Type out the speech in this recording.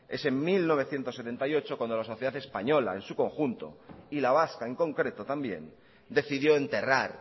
es en mil novecientos setenta y ocho cuando la sociedad española en su conjunto y la vasca en concreto también decidió enterrar